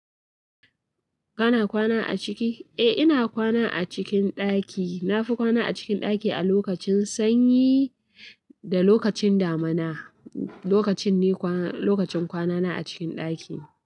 Kana kwana a ciki? Eh ina kwana a cikin ɗaki. Nafi kwana a cikin ɗaki a lokacin sanyi da lokacin damuna. Lokacin ne kwana, lokacin kwanana a cikin ɗaki.